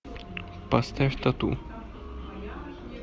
поставь тату